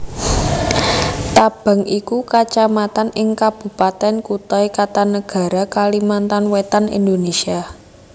Tabang iku Kacamatan ing Kabupatèn Kutai Kartanegara Kalimantan Wétan Indonésia